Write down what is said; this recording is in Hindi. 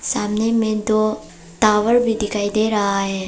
सामने में दो टावर भी दिखाई दे रहा है।